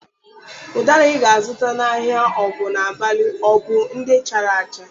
Ụdara ị ga-azụta n'ahịa Ogunabali ọ bụ ndị chara acha?